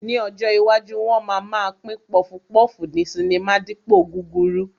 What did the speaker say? Ní ọjọ́ iwájú, wọn máa ma pín pọfupọ́ọ̀fù ní sinimá dípòo gúrúrú